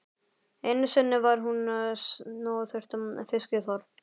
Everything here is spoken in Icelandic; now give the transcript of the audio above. Einu sinni var hún snoturt fiskiþorp.